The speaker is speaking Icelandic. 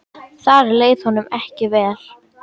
Þar leið honum ekki vel.